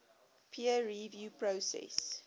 peer review process